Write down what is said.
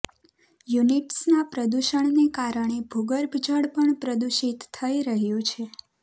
યુનિટ્સના પ્રદૂષણને કારણે ભૂગર્ભજળ પણ પ્રદૂષિત થઈ રહ્યું છે